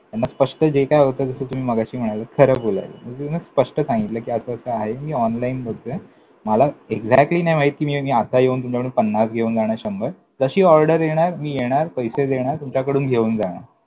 मग स्पष्ट जे काय होतं, जसं तुम्ही मघाशी म्हणालात, खरं बोलावं. मग स्पष्ट सांगतिलं कि असं असं आहे, मी online देतोय. मला exactly नाय माहीत, कि मी आता येऊन तुमच्याकडून पन्नास घेऊन जाणार शंभर. जशी order येणार, मी येणार, पैसे देणार, तुमच्याकडून घेऊन जाणार.